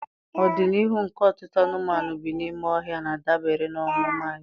Ọdịnihu nke ọtụtụ anụmanụ bi n'ime ọhịa na-adabere na omume anyị.